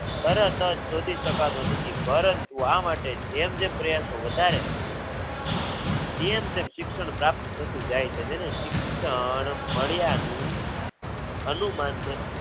તરતજ શોધી સકાતો નથી પરંતુ આ માટે જેમ જેમ પ્રયાસો વધારે તેમ તેમ શિક્ષણ પ્રાપ્ત થતું જાય છે તેને શિક્ષણ મળ્યા નું અનુમાન પ્રત્યે